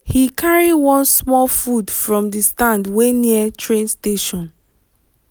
he carry one small food from the stand wey near train station.